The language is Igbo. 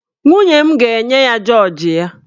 Nwunye m ga-enye ya jọọji ya.